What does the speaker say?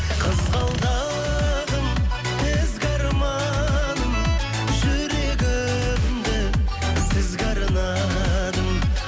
қызғалдағым ізгі арманым жүрегімді сізге арнадым